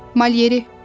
Malyeri.